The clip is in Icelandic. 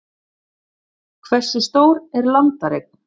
Hversu stór er landareign?